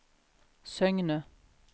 Søgne